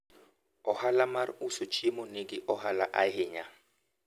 ohala mar uso chiemo nigi ohala ahinya